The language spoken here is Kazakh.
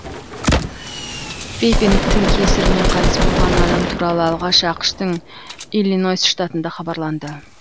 вейпингтің кесірінен қайтыс болған адам туралы алғаш ақш тың иллинойс штатында хабарланды